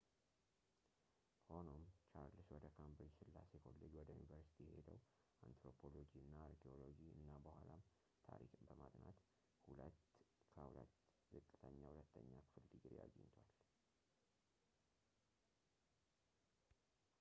ሆኖም ቻርልስ ወደ ካምብሪጅ ሥላሴ ኮሌጅ ወደ ዩኒቨርስቲ የሄደው አንትሮፖሎጂ እና አርኪኦሎጂ እና በኋላም ታሪክን በማጥናት 2፡2 ዝቅተኛ ሁለተኛ ክፍል ድግሪ አግኝቷል